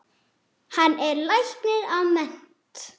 Hann er læknir að mennt.